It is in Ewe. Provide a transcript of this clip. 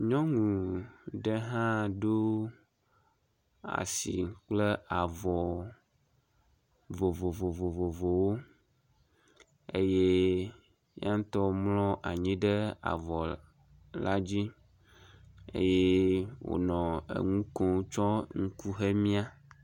Nynu ɖe hã do asi kple avɔ vovovovowo eye yaŋtɔ mlɔ anyi ɖe avɔ la dzi eye wonɔ eŋu kom tsɔ ŋku he mia.